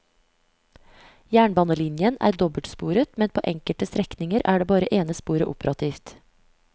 Jernbanelinjen er dobbeltsporet, men på enkelte strekninger er bare det ene sporet operativt.